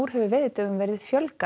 hefur veiðidögum verið fjölgað